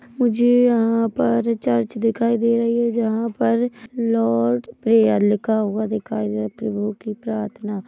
मुझे यहाँ पर चर्च दिखाई दे रही है जहां पर लॉर्ड प्रेयर लिखा हुआ दिखाई दे रहा प्रभु की प्रार्थना--